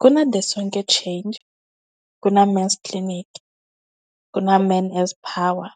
Ku na the Sonke Change, ku na men's clinic, ku na men as power